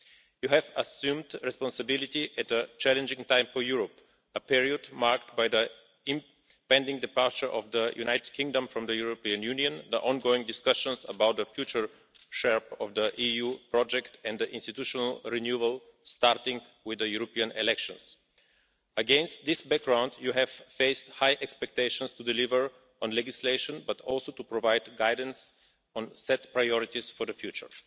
You have assumed responsibility at a challenging time for Europe, a period marked by the impending departure of the United Kingdom from the European Union, the ongoing discussions about the future shape of the EU project and institutional renewal, starting with the European elections. Against this background, you have faced high expectations to deliver on legislation, but also to provide guidance on set priorities for the future.